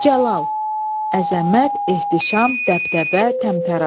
Cəlal, əzəmət, ehtişam, dəbdəbə, təmtərax.